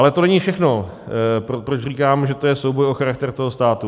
Ale to není všechno, proč říkám, že to je souboj o charakter toho státu.